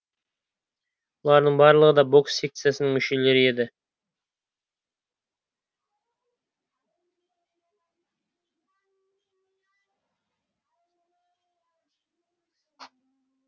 бұлардың барлығы да бокс секциясының мүшелері еді